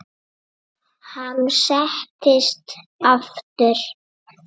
Hann settist aftur.